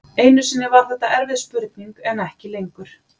Einu sinni var þetta erfið spurning en ekki lengur.